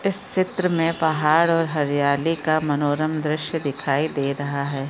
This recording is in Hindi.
इस चित्र मे पहाड़ और हरियाली का मनोरम द्रश्य दिखाई दे रहा है।